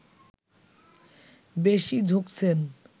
বেশি ঝুঁকছেন